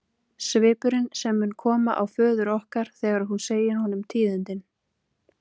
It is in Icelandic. Svipurinn sem mun koma á föður okkar þegar þú segir honum tíðindin.